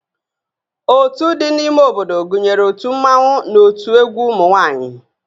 Ótú dị n'ime obodo gụnyere ótù Mmanwu na ótú egwu ụmụ nwaanyị